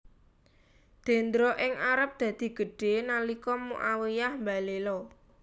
Dendra ing Arab dadi gedhé nalika Muawiyyah mbalela